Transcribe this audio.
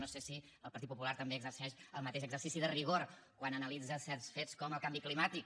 no sé si el partit popular també exerceix el mateix exercici de rigor quan analitza certs fets com el canvi climàtic